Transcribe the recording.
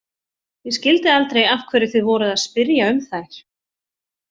Ég skildi aldrei af hverju þið voruð að spyrja um þær.